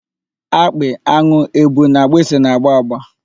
Akpị, an̄ụ, èbù na agbịsị na-agba agba.